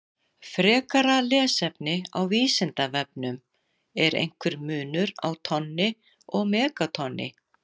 Frekara lesefni á Vísindavefnum: Er einhver munur á tonni og megatonni?